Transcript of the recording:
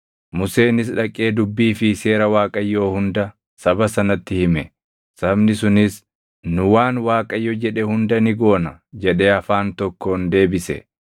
Museenis dhaqee dubbii fi seera Waaqayyoo hunda saba sanatti hime; sabni sunis, “Nu waan Waaqayyo jedhe hunda ni goona” jedhee afaan tokkoon deebise.